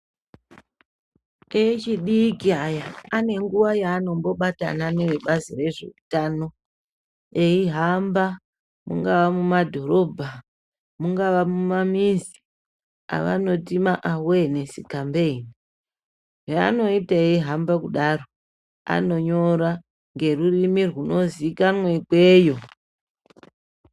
Echidiki aya, ane nguwa yaanombobatana nevebazi rezveutano eihamba mungava mumadhorobha, mungava mumamizi avanoti maawenesi kambeyini. Zvavanoita eihamba kudaro, anonyora ngerurimi runozikanwa ikweyo.